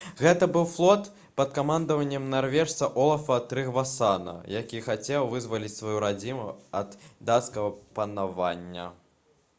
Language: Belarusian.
гэта быў флот пад камандаваннем нарвежца олафа трыгвасана які хацеў вызваліць сваю радзіму ад дацкага панавання